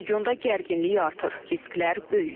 Regionda gərginlik artır, risklər böyüyür.